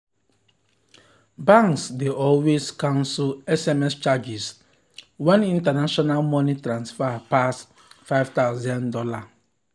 banks dey always cancel sms charges when international money transfer pass five thousand dollars.